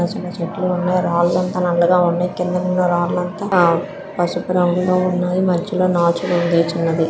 చిన్న చిన్న చెట్లు ఉన్నాయి. రాళ్ల అంత నల్లగా ఉన్నాయి. కిందనున్న రాళ్ళంతా ఆ పసుపు రంగులో ఉన్నాయి. మధ్యలో నాచున్నది--